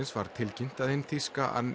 var tilkynnt að hin þýska